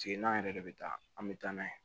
Sigi n'an yɛrɛ de bɛ taa an bɛ taa n'a ye